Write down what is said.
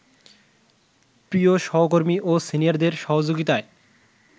প্রিয় সহকর্মী ও সিনিয়রদের সহযোগিতায়